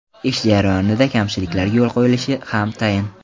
Ish jarayonida kamchiliklarga yo‘l qo‘yilishi ham tayin.